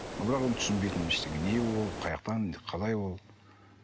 бірақ оны түсінбейтінмін ештеңе не ол қаяақтан қалай ол